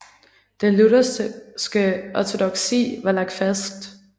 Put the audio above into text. Den lutherske ortodoksi var lagt fast